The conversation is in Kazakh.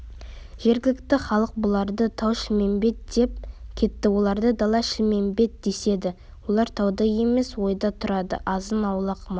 жергілікті халық бұларды тау-шілмембет деп кетті оларды дала-шілмембет деседі олар тауда емес ойда тұрады азын-аулақ мал